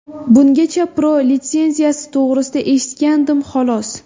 Bungacha Pro litsenziyasi to‘g‘risida eshitgandim, xolos.